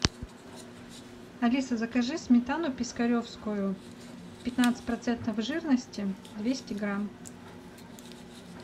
алиса закажи сметану пискаревскую пятнадцать процентов жирности двести грамм